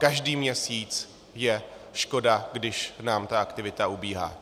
Každý měsíc je škoda, když nám ta aktivita ubíhá.